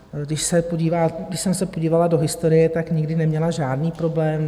Když jsem se podívala do historie, tak nikdy neměla žádný problém.